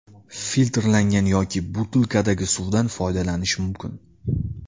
Filtrlangan yoki butilkadagi suvdan foydalanish mumkin.